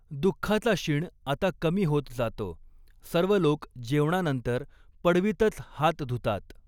दुःखाचा शिण आता कमी होत जातो, सर्व लोक जेवणा नंतर पडवीतच हात धुतात.